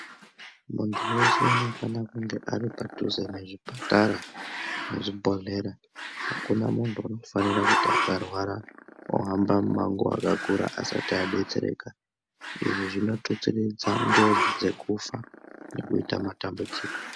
Muntu weshe unofanira kunge ari padhuze nezvipatara nezvibhodhlera akuna muntu Unofanira kuti akarwara ohamba mumanguwa akakura asati adetserekaizvi zvinotutsiridza njodzi dzokufa nekuita matambudziko.